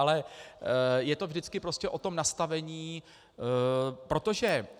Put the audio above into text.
Ale je to vždycky prostě o tom nastavení, protože...